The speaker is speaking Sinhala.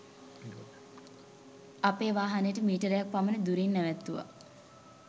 අපේ වාහනයට මීටරයක්‌ පමණ දුරින් නැවැත්තුවා.